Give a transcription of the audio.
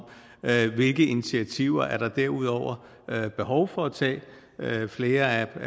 hvilke initiativer der derudover er behov for at tage flere